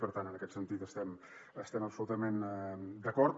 per tant en aquest sentit estem absolutament d’acord